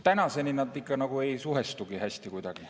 Tänaseni need ikka nagu ei suhestugi kuigi hästi.